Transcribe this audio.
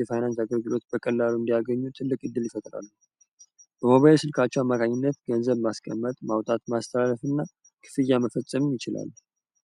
የፋይናንስ አገልግሎት በቀላሉ እንዲያገኙ ትልቅ እድል ይፈጥራሉ ገንዘብ ማስቀመጥ ማውጣት ማስተላለፍና ክፍያ እንችላለን።